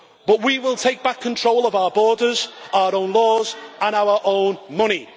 But we will take back control of our borders, our own laws and our own money.